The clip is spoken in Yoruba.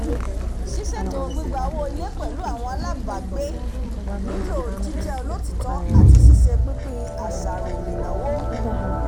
ṣísètò gbígba owó ilé pẹ̀lú àwọn alábàágbé nílò jíjẹ́ olotiitọ́ ati sise pínpín àṣàròmìnáwó